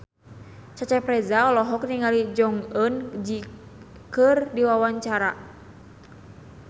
Cecep Reza olohok ningali Jong Eun Ji keur diwawancara